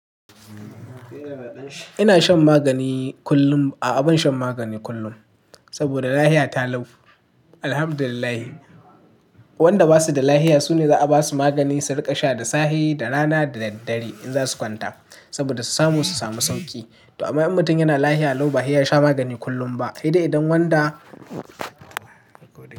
Ina shan magani kullum, a'a ban shan magani kullum saboda lafiya ta lau. Alhamdulillah, wanda basu da lafiya sune za a basu magani su riƙa sha da safe, da rana da daddare in za su kwanta saboda su samu sauƙi. To amma in mutum yana lafiya, lau ba ya sha magani kullum ba, idan wanda.